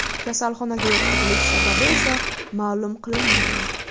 Kasalxonaga yotqizilishi sababi esa ma’lum qilinmagan.